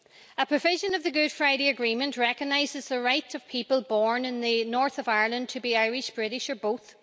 A provision of the Good Friday Agreement recognises the right of people born in the north of Ireland to be Irish, British or both.